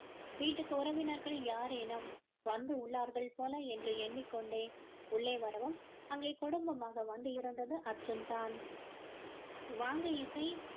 வீட்டிற்கு உறவினர்கள் யாரேனும் வந்து உள்ளார்கள் போல எண்ணிக் கொண்டே உள்ளே வரவும் அங்கே குடும்பமாக வந்து இருந்தது அர்ஜுன் தான் வாங்க இசை